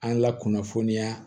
An la kunnafoniya